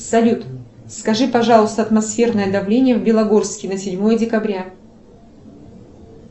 салют скажи пожалуйста атмосферное давление в белогорске на седьмое декабря